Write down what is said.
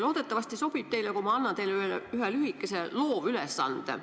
Loodetavasti teile sobib, kui ma annan teile ühe lühikese loovülesande.